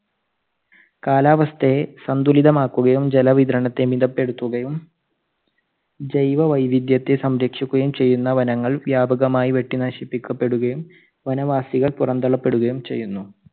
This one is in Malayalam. കാലാവസ്ഥയെ സന്തുലിതമാക്കുകയും ജല വിതരണത്തെ മിതപ്പെടുത്തുകയും ജൈവ വൈവിധ്യത്തെ സംരക്ഷിക്കുകയും ചെയ്യുന്ന വനങ്ങൾ വ്യാപകമായി വെട്ടിനശിപ്പിക്കപ്പെടുകയും വനവാസികൾ പുറന്തള്ളപ്പെടുകയും ചെയ്യുന്നു.